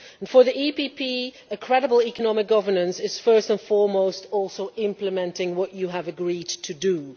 For the EPP, credible economic governance is first and foremost also implementing what you have agreed to do.